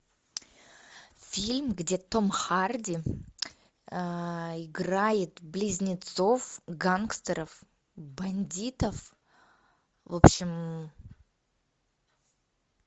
фильм где том харди играет близнецов гангстеров бандитов в общем